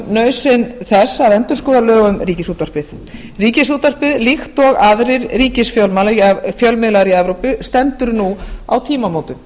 nauðsyn þess að endurskoða lög um ríkisútvarpið ríkisútvarpið líkt og aðrir ríkisfjölmiðlar í evrópu stendur nú á tímamótum